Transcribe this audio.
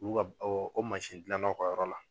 Olu ka ko mansin gilan naw ka yɔrɔ la.